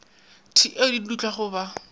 t eo di dutlago ba